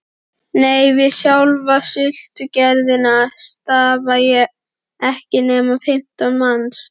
Nei, við sjálfa sultugerðina starfa ekki nema fimmtán manns